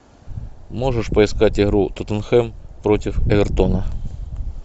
можешь поискать игру тоттенхэм против эвертона